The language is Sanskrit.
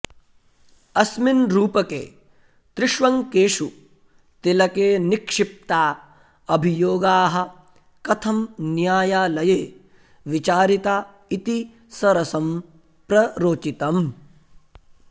अस्मिन् रूपके त्रिष्वङ्गेषु तिलके निक्षिप्ता अभियोगाः कथं न्यायालये विचारिता इति सरसं प्ररोचितम्